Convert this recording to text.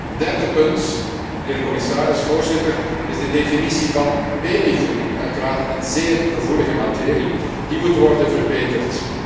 Een derde punt, mijnheer de commissaris, Voorzitter, is de definitie van babyvoeding, uiteraard een zeer gevoelige materie, die moet worden verbeterd.